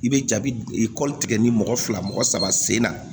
I bɛ jabi kɔli tigɛ ni mɔgɔ fila mɔgɔ saba sen na